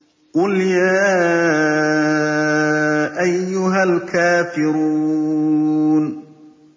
قُلْ يَا أَيُّهَا الْكَافِرُونَ